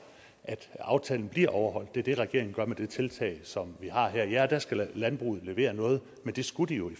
at aftalen bliver overholdt det er det regeringen gør med det tiltag som vi har her ja der skal landbruget levere noget men det skulle de jo i